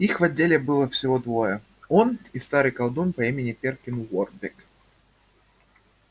их в отделе было всего двое он и старый колдун по имени перкин уорбек